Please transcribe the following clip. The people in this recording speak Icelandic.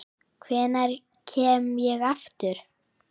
Hvenær kem ég aftur?